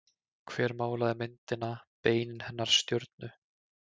Hver málaði myndina Beinin hennar stjörnu?